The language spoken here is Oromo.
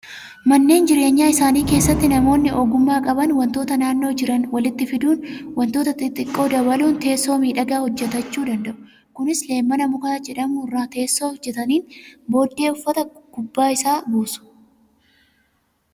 Manneen jireenyaa isaanii keessatti namoonni ogummaa qaban wantoota naannoo jiran walitti fiduun wantoota xixiqqoo dabaluun teessoo miidhagaa hojjatachuu danda'u. Kunis leemmana muka jedhamu irraa teessoo hojjataniin booddee uffata gubbaa isaa buusu.